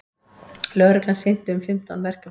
Lögreglan sinnti um fimmtán verkefnum